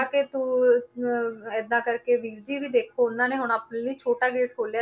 ਤਾਂ ਕਿ ਪੂ~ ਅਹ ਏਦਾਂ ਕਰਕੇ ਵੀਰ ਜੀ ਉਹਨਾਂ ਨੇ ਹੁਣ ਆਪਣੇ ਲਈ ਛੋਟਾ ਗੇਟ ਖੋਲਿਆ,